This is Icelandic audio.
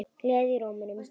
Gleði í rómnum.